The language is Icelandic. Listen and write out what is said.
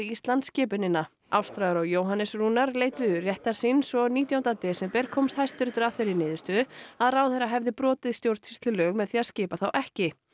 Íslands skipunina Ástráður og Jóhannes Rúnar leituðu réttar síns og nítjánda desember komst Hæstiréttur að þeirri niðurstöðu að ráðherra hefði brotið stjórnsýslulög með því að skipa þá ekki